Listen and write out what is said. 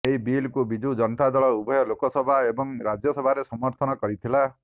ଏହି ବିଲ୍କୁ ବିଜୁ ଜନତା ଦଳ ଉଭୟ ଲୋକସଭା ଏବଂ ରାଜ୍ୟସଭାରେ ସମର୍ଥନ କରିଥିଲା